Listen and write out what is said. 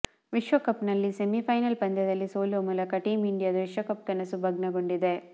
ವಿಶ್ವಕಪ್ ನಲ್ಲಿ ಸೆಮಿಫೈನಲ್ ಪಂದ್ಯದಲ್ಲಿ ಸೋಲುವ ಮೂಲಕ ಟೀಂ ಇಂಡಿಯಾದ ವಿಶ್ವಕಪ್ ಕನಸು ಭಗ್ನಗೊಂಡಿದೆ